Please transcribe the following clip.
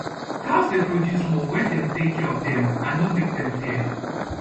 cows dey produce more wen dem take care of dem and nor make dem fear